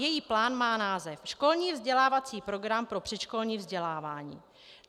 Její plán má název Školní vzdělávací program pro předškolní vzdělávání.